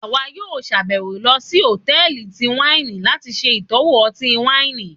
àwá yóò ṣabẹwo lọ sí hòtẹ́ẹ̀lì tí waini lati ṣe itọwo ọti-waini.